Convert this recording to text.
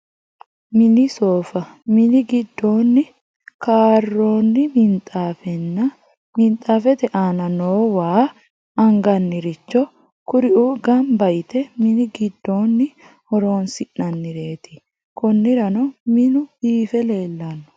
Mini sooffa, mini gidoonni karoonni minxaafenna minxaafete aana noo waa anganniricho, kuriu gamba yite mini gidooni horonsi'nanireet, koniranno minu biife leelano